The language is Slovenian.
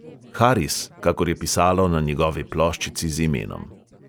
Haris, kakor je pisalo na njegovi ploščici z imenom.